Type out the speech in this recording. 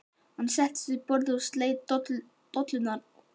Hann settist við borðið og sleit dollurnar úr spyrðunni.